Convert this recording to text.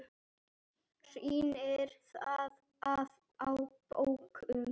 Sýnir það að á dögum